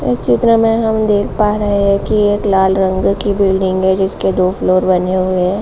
इस चित्र मे हम देख पा रहे हैं की एक लाल रंगो की बिल्डिंग है जिसके फ्लोर बने हुए हैं।